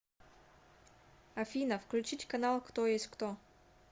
афина включить канал кто есть кто